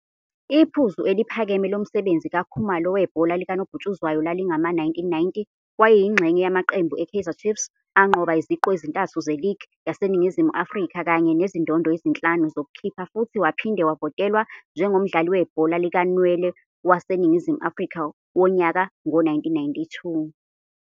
Iphuzu eliphakeme lomsebenzi kaKhumalo webhola likanobhutshuzwayo lalingama-1990, wayeyingxenye yamaqembu eKaizer Chiefs anqoba iziqu ezintathu ze-league yaseNingizimu Afrika kanye nezindondo ezinhlanu zokukhipha futhi waphinde wavotelwa njengomdlali webhola likanwele waseNingizimu Afrika wonyaka ngo-1992.